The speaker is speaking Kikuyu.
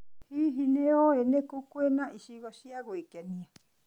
Hihi, nĩ ũĩ nĩ kũ kwĩna icigo cia gwĩkenia?